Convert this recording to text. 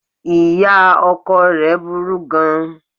Ìya ọkọ rẹ̀ burú gan an